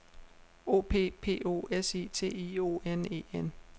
O P P O S I T I O N E N